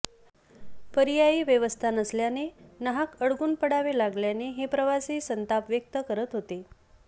पर्यायी व्यवस्था नसल्याने नाहक अडकून पडावे लागल्याने हे प्रवासी संताप व्यक्त करीत होते